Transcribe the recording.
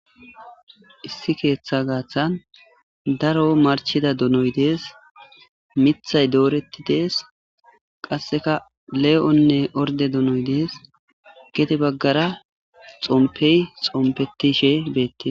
Issi keeththa gaaththan daro marchida donoy dees mithay dooretti dees qasseka le7onne orde donoy dees gete baggara xompey xompetishe beettee.